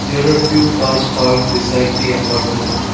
there are few cars parked beside the apartment.